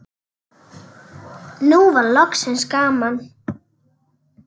Nú var loksins gaman.